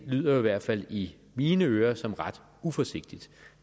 lyder i hvert fald i mine ører som ret uforsigtigt